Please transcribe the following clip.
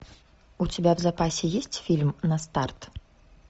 у тебя в запасе есть фильм на старт